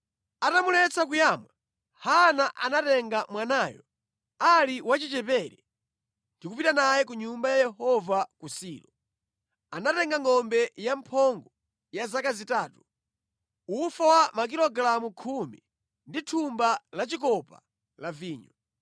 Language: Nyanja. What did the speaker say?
Atamuletsa kuyamwa, Hana anatenga mwanayo ali wachichepere, ndikupita naye ku nyumba ya Yehova ku Silo. Anatenga ngʼombe yamphongo ya zaka zitatu, ufa wa makilogalamu khumi, ndi thumba lachikopa la vinyo.